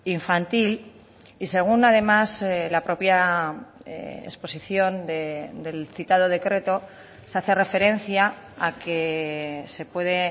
infantil y según además la propia exposición del citado decreto se hace referencia a que se puede